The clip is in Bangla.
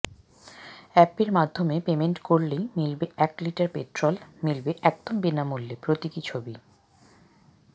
অ্যাপের মাধ্যমে পেমেন্ট করলেই মিলবে এক লিটার পেট্রোল মিলবে একদম বিনামূল্যে প্রতীকী ছবি